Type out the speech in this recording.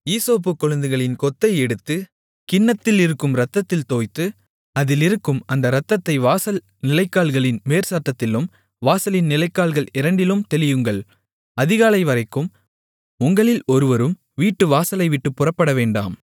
ஈசோப்புக் கொழுந்துகளின் கொத்தை எடுத்து கிண்ணத்தில் இருக்கும் இரத்தத்தில் தோய்த்து அதில் இருக்கும் அந்த இரத்தத்தை வாசல் நிலைக்கால்களின் மேற்சட்டத்திலும் வாசலின் நிலைக்கால்கள் இரண்டிலும் தெளியுங்கள் அதிகாலைவரைக்கும் உங்களில் ஒருவரும் வீட்டு வாசலைவிட்டுப் புறப்படவேண்டாம்